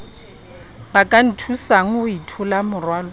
ba ka nthusang ho itholamorwalo